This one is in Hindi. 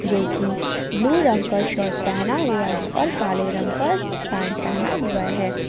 जोकि ब्लू रंग का शर्ट पहना हुआ है और काले रंग का पैंट पहना हुआ है।